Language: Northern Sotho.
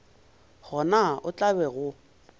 gona o tla be o